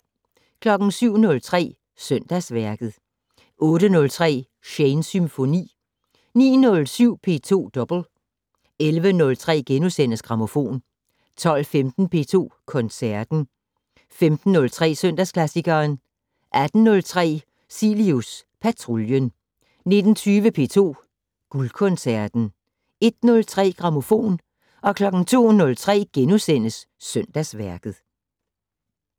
07:03: Søndagsværket 08:03: Shanes Symfoni 09:07: P2 Double 11:03: Grammofon * 12:15: P2 Koncerten 15:03: Søndagsklassikeren 18:03: Cilius Patruljen 19:20: P2 Guldkoncerten 01:03: Grammofon 02:03: Søndagsværket *